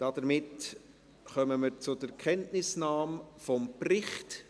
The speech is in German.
Somit kommen wir zur Kenntnisnahme des Berichts.